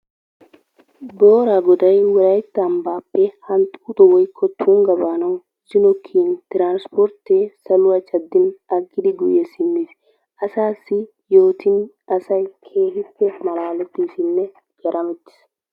Booraa goday wolayitta ambaappe hanxxuuxo woyikko tunga baanawu zino kiyin tiransportee saluwa caddin aggidi guyye simmis. Asaasi yootin asay keehippe malaalettiisinne garamettis.